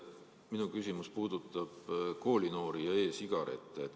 Minu küsimus puudutab koolinoori ja e‑sigarette.